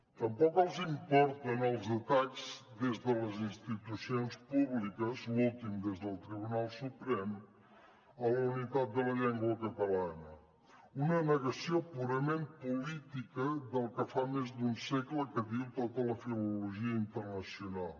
tampoc els importen els atacs des de les institucions públiques l’últim des del tribunal suprem a la unitat de la llengua catalana una negació purament política del que fa més d’un segle que diu tota la filologia internacional